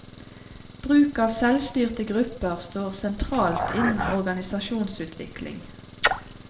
Bruk av selvstyrte grupper står sentralt innen organisasjonsutvikling.